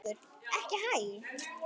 Haukur: Ekki hæ?